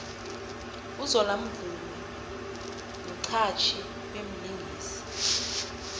uzola mvumi mxhatjhi bemlingisi